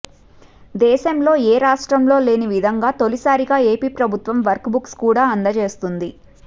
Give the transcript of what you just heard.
దేశంలో ఏ రాష్ట్రంలో లేని విధంగా తొలిసారిగా ఏపీ ప్రభుత్వం వర్క్ బుక్స్ కూడా అందజేస్తుంది